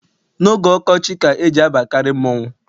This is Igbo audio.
N'oge ọkọchị ka e ji abakarị mmọnwụ.